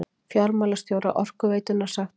Fjármálastjóra Orkuveitunnar sagt upp